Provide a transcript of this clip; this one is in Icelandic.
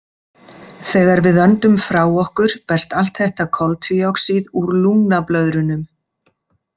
Þegar við öndum frá okkur berst allt þetta koltvíoxíð úr lungnablöðrunum.